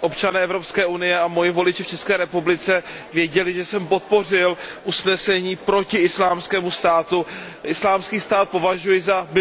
občané EU a moji voliči v České republice věděli, že jsem podpořil usnesení proti Islámskému státu. Islámský stát považuji za mimořádně